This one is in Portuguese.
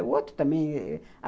O outro também.